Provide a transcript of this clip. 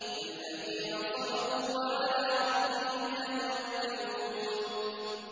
الَّذِينَ صَبَرُوا وَعَلَىٰ رَبِّهِمْ يَتَوَكَّلُونَ